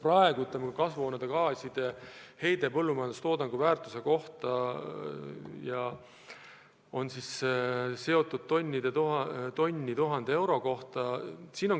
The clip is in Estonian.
Praegu mõõdetakse kasvuhoonegaaside heidet, võrreldes seda põllumajandustoodangu väärtusega ja kasutades näitajat tonni 1000 euro kohta.